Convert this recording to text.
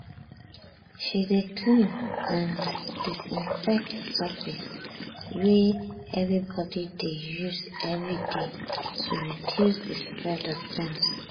she dey clean and disinfect surface wey everybody dey use every day to reduce the spread of germs.